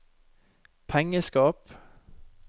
pengeskap